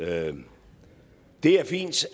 er den det er fint